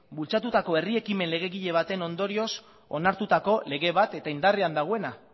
bultzatutako herri ekimen legegile baten ondorioz onartutako lege bat eta indarrean dagoena